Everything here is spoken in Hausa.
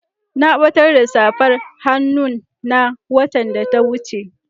Na batar da safar hannun na watan da ya wuce.